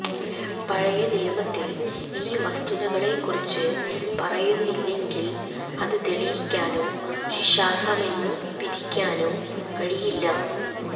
പഴയ നിയമത്തിൽ ഈ വസ്തുക്കളെകുറിച്ച് പറയുന്നില്ലെങ്കിൽ അത് തെളിയിക്കാനോ ശിക്ഷാർഹമെന്നു വിധിക്കാനോ കഴിയില്ല